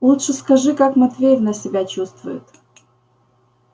лучше скажи как матвеевна себя чувствует